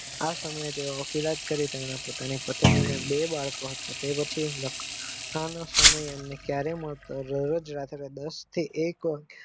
આ સમયે તમને વકીલાત કરી તેમના પત્ની ને બે બાળકો આપીયા તે પછી તેમને લખવાનો સમય ક્યારેક મળતો રહીઓ તે રોજ રાતે દસ થી એક વાગે.